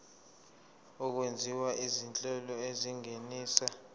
okwenziwa izinhlelo ezingenisa